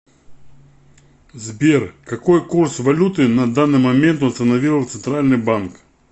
сбер какой курс валюты на данный момент установил центральный банк